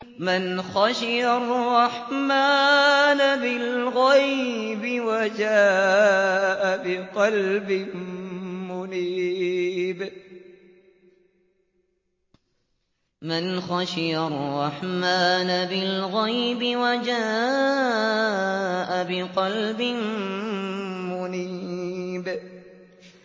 مَّنْ خَشِيَ الرَّحْمَٰنَ بِالْغَيْبِ وَجَاءَ بِقَلْبٍ مُّنِيبٍ